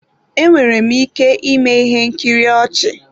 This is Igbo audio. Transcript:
Enwere m ike ịme ihe nkiri ọchị.